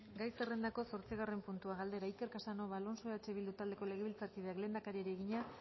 gai zerrendako zortzigarren puntua galdera iker casanova alonso eh bildu taldeko legebiltzarkideak lehendakariari egina